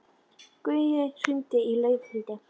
Gaui, hringdu í Laufhildi.